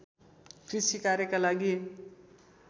कृषि कार्यका लागि